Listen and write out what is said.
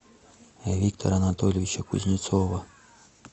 виктора анатольевича кузнецова